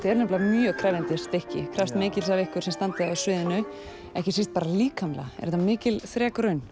er nefnilega mjög krefjandi stykki krefst mikils af ykkur sem standið á sviðinu ekki síst bara líkamlega er þetta mikil þrekraun